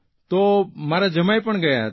તો મારા જમાઇ પણ ગયા હતા